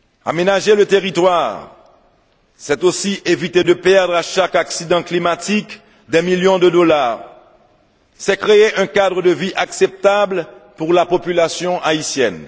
Aménager le territoire, c'est aussi éviter de perdre à chaque accident climatique des millions de dollars, c'est créer un cadre de vie acceptable pour la population haïtienne.